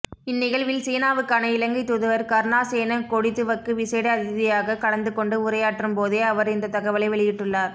இந்நிகழ்வில் சீனாவுக்கான இலங்கை தூதுவர் கருணாசேன கொடிதுவக்கு விசேட அதிதியாக கலந்துக்கொண்டு உரையாற்றும் போதே அவர் இந்த தகவலை வெளியிட்டுள்ளார்